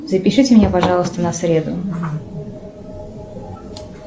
запишите меня пожалуйста на среду